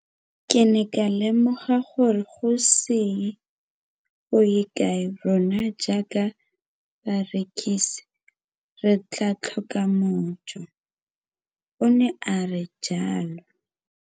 Ke ne ka lemoga gore go ise go ye kae rona jaaka barekise re tla tlhoka mojo, o ne a re jalo.